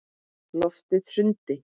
Loftið hrundi.